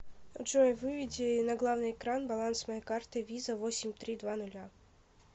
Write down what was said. джой выведи на главный экран баланс моей карты виза восемь три два ноля